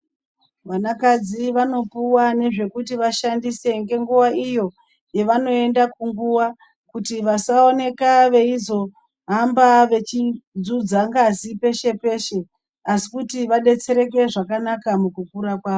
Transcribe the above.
Vanakadzi vanopuwa ngezvekuti vashandise ngenguvaa iyo yavanoenda kunguva. Kuti vasaoneka veizohamba vechidzudza ngazi peshe-peshe. Asi kuti vadetsereke zvakanaka mukukura kwavo.